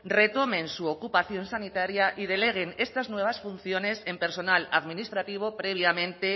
retomen su ocupación sanitaria y deleguen estas nuevas funciones en personal administrativo previamente